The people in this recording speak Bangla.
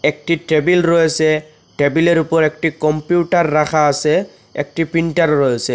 একটি টেবিল রয়েসে টেবিলের ওপর একটি কম্পিউটার রাখা আসে একটি প্রিন্টারও রয়েসে।